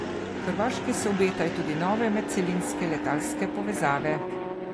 Hrvaški se obetajo tudi nove medcelinske letalske povezave.